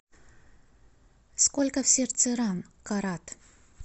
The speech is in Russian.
сколько в сердце ран карат